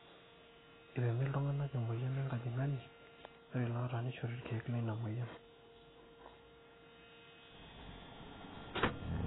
eipimi iltung'anak emueyian enkajang'ani ore iloota neishori irkeek leina mweyian